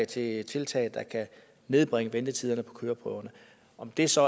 til tiltag der kan nedbringe ventetiderne på køreprøverne om det så